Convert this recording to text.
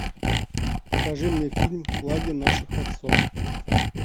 покажи мне фильм флаги наших отцов